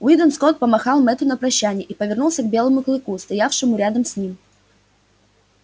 уидон скотт помахал мэтту на прощанье и повернулся к белому клыку стоявшему рядом с ним